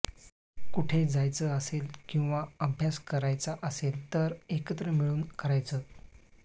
कुठे जायचं असेल किंवा अभ्यास करायचा असेल तर एकत्र मिळून करायचं